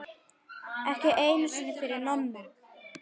Ekki einu sinni fyrir Nonna.